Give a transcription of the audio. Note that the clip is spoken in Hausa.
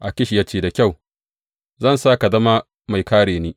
Akish ya ce, Da kyau, zan sa ka zama mai kāre ni.